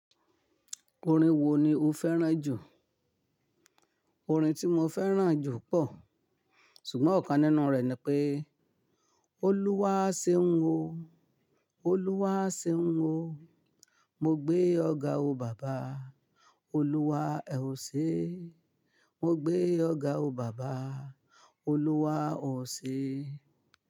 Orin wo ni o fẹ́ràn jù? Orin tí mo fẹ́ràn jù pọ̀, ṣùgbọ́n ọ̀kan nínú rẹ̀ ni pé, Olúwa ṣeun o, Oluwaseun o. Mo gbé ọ ga o baba, Olúwa ẹ ò ṣe. Mo gbé ọ ga o baba, Olúwa o ṣe.